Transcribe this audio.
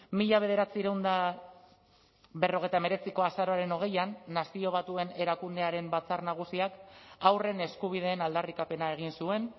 mila bederatziehun eta berrogeita hemeretziko azaroaren hogeian nazio batuen erakundearen batzar nagusiak haurren eskubideen aldarrikapena egin zuen